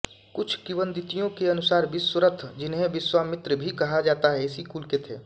कुछ किवदंतियों के अनुसार विश्वरथ जिन्हें विश्वामित्र भी कहा जाता है इसी कुल के थे